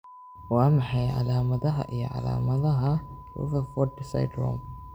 Waa maxay calaamadaha iyo calaamadaha Rutherfurd syndrome?